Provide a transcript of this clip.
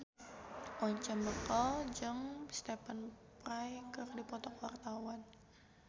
Once Mekel jeung Stephen Fry keur dipoto ku wartawan